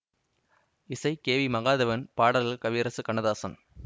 இசை கே வி மகாதேவன் பாடல்கள் கவியரசு கண்ணதாசன்